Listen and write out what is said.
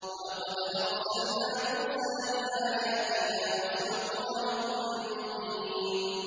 وَلَقَدْ أَرْسَلْنَا مُوسَىٰ بِآيَاتِنَا وَسُلْطَانٍ مُّبِينٍ